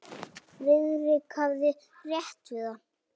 Friðrik hafði rétt hann við.